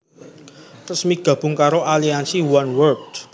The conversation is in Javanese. resmi gabung karo aliansi Oneworld